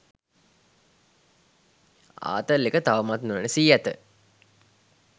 ආතල් එක තවමත් නොනැසී ඇත.